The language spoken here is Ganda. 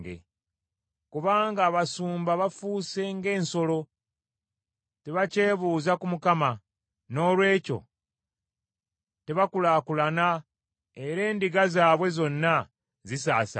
Kubanga abasumba bafuuse ng’ensolo tebakyebuuza ku Mukama . Noolwekyo tebakulaakulana era endiga zaabwe zonna zisaasaanye.